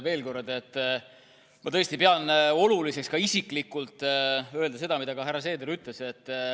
Veel kord, ma tõesti pean oluliseks ka isiklikult öelda seda, mida härra Seeder juba ütles.